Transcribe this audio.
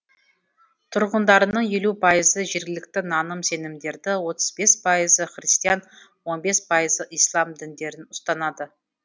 тұрғындарының елу пайызы жергілікті наным сенімдерді отыз бес пайызы христиан он бес пайызы ислам діндерін ұстанады